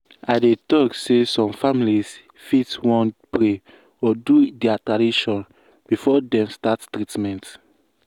i dey talk say some families fit wan pray or do their tradition before dem start treatment.